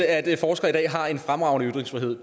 at forskere i dag har en fremragende ytringsfrihed